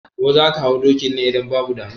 Ko zaka hau dokin ne? Idan babu damuwa